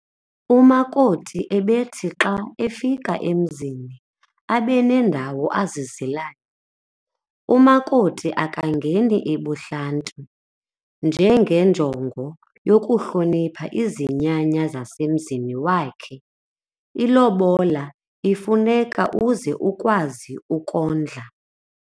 Umakoti ebethi xa efika emzini abe nendawo azizilayo. Umakoti akangeni ebuhlanti ngenjongo yokuhlonipha izinyanya zasemzini wakhe.ilobola i ifuneka uze ukwazi ukondla